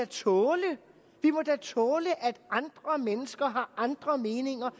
tåle vi må da tåle at andre mennesker har andre meninger